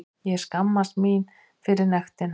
Ég skammast mín fyrir nektina.